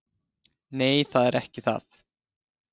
"""Nei, það er ekki það."""